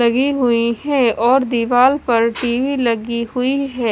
लगी हुई है और दीवार पर टी_वी लगी हुई है।